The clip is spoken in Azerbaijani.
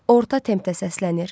Orta tempdə səslənir.